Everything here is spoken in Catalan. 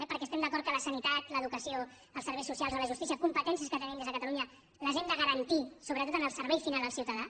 perquè estem d’acord que la sanitat l’educació els serveis socials o la justícia competències que tenim des de catalunya els hem de garantir sobretot en el servei final al ciutadà